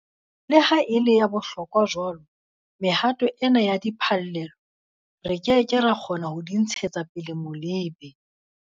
Le ha e le ya bohlokwa jwalo, mehato ena ya diphallelo, re ke ke ra kgona ho di ntshetsa pele molebe.